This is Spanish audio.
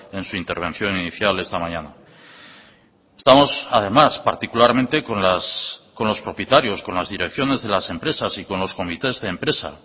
en su intervención inicial esta mañana estamos además particularmente con los propietarios con las direcciones de las empresas y con los comités de empresa